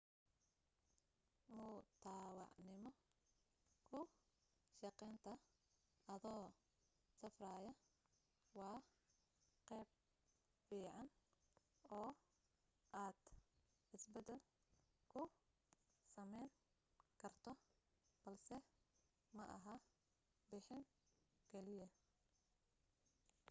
mutadwacnimo ku shaqaynta adoo safraya waa qaab fiican oo aad isbeddel ku samayn karto balse maaha bixin kaliya